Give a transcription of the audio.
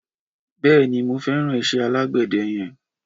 Bèéní, mi o feran ise alàgbéde yen